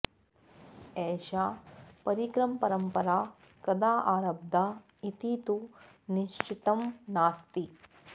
एषा परिक्रमपरम्परा कदा आरब्धा इति तु निश्चितं नास्ति